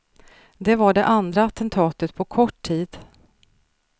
Det var det andra attentatet på kort tid.